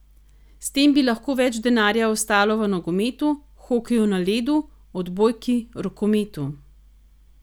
S tem bi lahko več denarja ostalo v nogometu, hokeju na ledu, odbojki, rokometu...